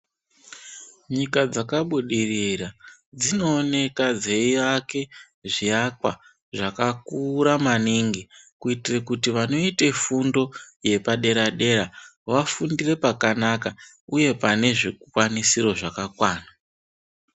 Nyika dzakabudirira dzinooneka dzeiake zviakwa zvakakura maningi. Kuitire kuti vanoite fundo yepadera-dera vafundire pakanaka, uye pane zvikwanisiro zvakakwana.